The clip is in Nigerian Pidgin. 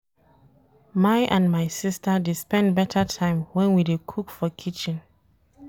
My and my sista dey spend beta time wen we dey cook for kitchen.